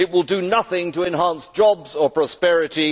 It will do nothing to enhance jobs or prosperity.